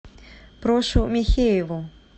прошу михееву